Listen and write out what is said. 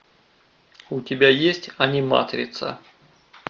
у тебя есть аниматрица